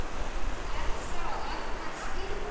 Elsa og Arnar skildu.